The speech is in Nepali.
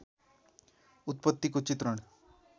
उत्पत्तिको चित्रण